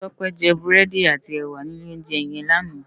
Tope jè búrèdí àtí èwá ni ilé óunjè yèn làná